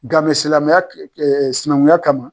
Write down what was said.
Gamɛ silamɛya ɛ ɛ sinɛnkunya kama